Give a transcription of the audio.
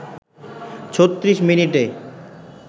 ৩৬ মিনিটে